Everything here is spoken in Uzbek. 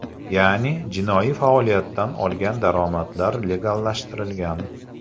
Ya’ni, jinoiy faoliyatdan olgan daromadlar legallashtirilgan.